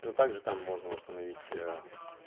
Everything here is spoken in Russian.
ну также там можно установить ээ